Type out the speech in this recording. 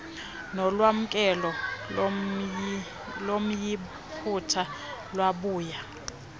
nolwamkelo lomyiputa lwabuya